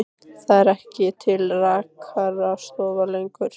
Það eru ekki til rakarastofur lengur.